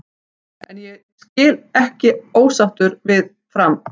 En ég skil alls ekki ósáttur við Fram.